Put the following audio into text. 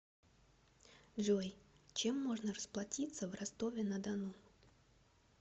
джой чем можно расплатиться в ростове на дону